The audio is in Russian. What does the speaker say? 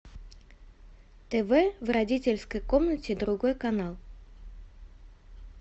тв в родительской комнате другой канал